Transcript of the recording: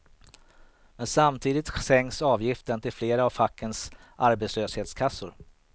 Men samtidigt sänks avgiften till flera av fackens arbetslöshetskassor.